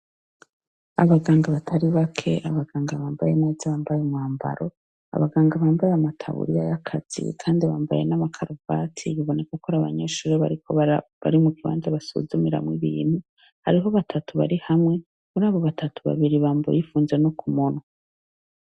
Abaganga batari bake, abaganga bambaye neza, bambaye umwambaro, abaganga bambaye ama taburiya y'akazi kandi bambaye n'amakaruvati biboneka ko ari abanyeshure bari mukibanza basuzumiramwo ibintu. Hariho batatu bari hamwe, muri abo batatu , babiri bambaye bipfunze no ku munwa.